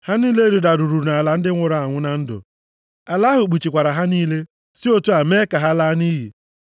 Ha niile rịdaruru nʼala ndị nwụrụ anwụ na ndụ. Ala ahụ kpuchikwara ha niile, si otu a mee ka ha laa nʼiyi.